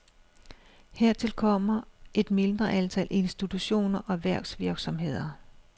Hertil kommer et mindre antal institutioner og erhvervsvirksomheder.